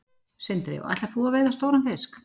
Sindri: Og ætlar þú að veiða stóran fisk?